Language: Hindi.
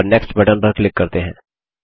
और नेक्स्ट बटन पर क्लिक करते हैं